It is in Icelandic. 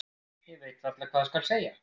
Ég veit varla hvað skal segja.